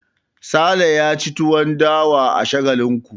Sale ya ci tuwon dawa a Shagalinku.